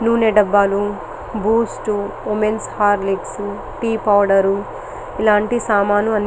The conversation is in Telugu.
నూనె డబ్బాలు Boost women Horlicks tea powder ఇలాంటి సామాన్లు అన్నీ --